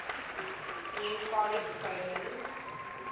new forest coven